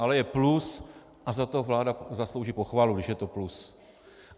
Ale je plus a za to vláda zaslouží pochvalu, když je to plus.